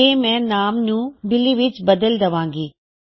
ਤੇ ਮੈਂ ਨਾਮ ਨੂੰ ਬਿਲੀ ਵਿੱਚ ਬਦਲ ਦਵਾਂ ਗਾ